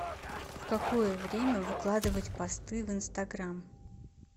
в какое время выкладывать посты в инстаграм